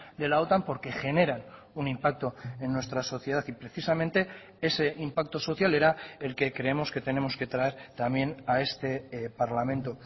de la otan porque generan un impacto en nuestra sociedad y precisamente ese impacto social era el que creemos que tenemos que traer también a este parlamento